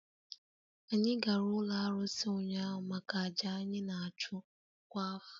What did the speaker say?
Anyị gara ụlọ arụsị ụnyaahụ maka àjà anyị na-achụ kwa afọ